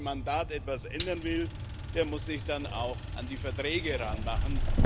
Und wer an dem Mandat etwas ändern will, der muss sich dann auch an die Verträge ranmachen.